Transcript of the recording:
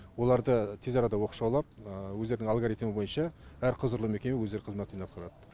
оларды тез арада оқшаулап өздерінің алгоритмі бойынша әр құзырлы мекеме өздері қызметін атқарады